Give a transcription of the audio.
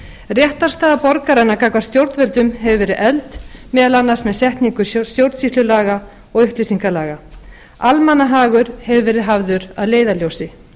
réttarstaða borgaranna gagnvart stjórnvöldum hefur verið efld meðal annars með setningu stjórnsýslulaga og upplýsingalaga almannahagur hefur verið hafður að leiðarljósi